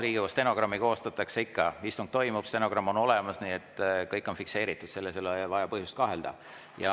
Riigikogu stenogrammi koostatakse ikka, istung toimub, stenogramm on olemas, nii et kõik on fikseeritud, selles ei ole põhjust kahelda.